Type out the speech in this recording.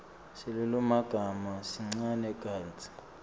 silulumagama sincane kantsi